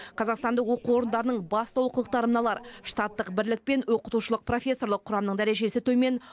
қазақстандық оқу орындарының басты олқылықтары мыналар штаттық бірлік пен оқытушылық профессорлық құрамның дәрежесі төмен